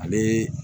Ale